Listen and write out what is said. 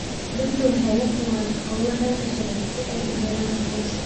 Dadku waxay la kulmaan caqabado dhanka sharciga ah si ay u helaan aqoonsi.